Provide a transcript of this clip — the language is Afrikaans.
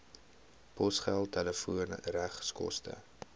posgeld telefoon regskoste